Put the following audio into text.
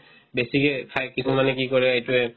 বেছিকে খাই কিছুমানে কি কৰে এইটোয়ে